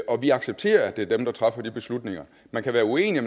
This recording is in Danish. og at de accepterer at det er dem der træffer de beslutninger man kan være uenig